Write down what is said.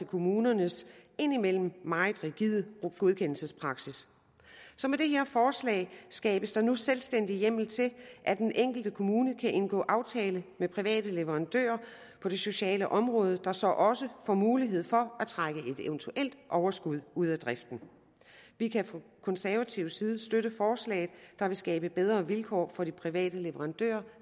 kommunernes indimellem meget rigide godkendelsespraksis så med det her forslag skabes der nu selvstændig hjemmel til at den enkelte kommune kan indgå aftale med private leverandører på det sociale område der så også får mulighed for at trække et eventuelt overskud ud af driften vi kan fra konservativ side støtte forslaget der vil skabe bedre vilkår for private leverandører